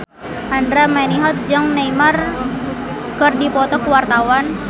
Andra Manihot jeung Neymar keur dipoto ku wartawan